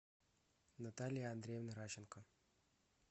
наталья андреевна ращенко